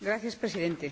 Señor Presidente,